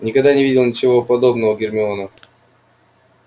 никогда не видела ничего подобного гермиона